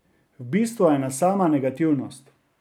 V bistvu ena sama negativnost.